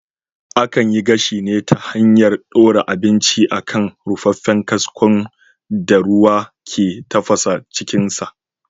Akan yi gashi ne ta hanyar ɗora abinci a kan rufaffen kaskon da ruwa ke tafasa cikin sa